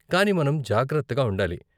కానీ మనం జాగ్రత్తగా ఉండాలి.